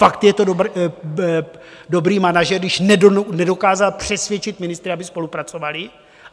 Fakt je to dobrý manažer, když nedokázal přesvědčit ministry, aby spolupracovali?